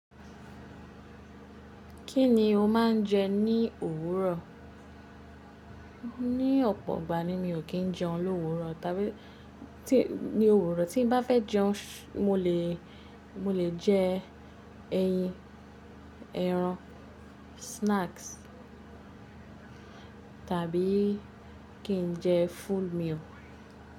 Kí ni o máa ń jẹ ní òwúrọ̀? Ní ọ̀pọ̀ ọgbà ni mi ò kí ń jẹun l'òwúrọ̀, tàbí ní òwúrọ̀ tí n bá fẹ́ jẹun, mo lè, mo lè jẹ ẹyin, ẹran, snacks tàbí kí n jẹ full meal.